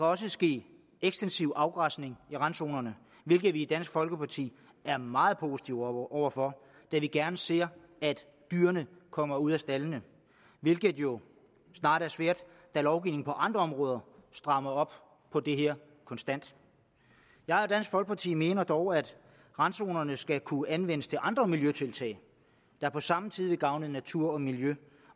også ske ekstensiv afgræsning i randzonerne hvilket vi i dansk folkeparti er meget positive over for da vi gerne ser at dyrene kommer ud af staldene hvilket jo snart er svært da lovgivningen på andre områder strammer op på det her konstant jeg og dansk folkeparti mener dog at randzonerne skal kunne anvendes til andre miljøtiltag der på samme tid vil gavne natur og miljø